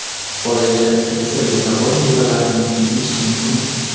Bolaga qaysi rezavor mevalarni berish mumkin?.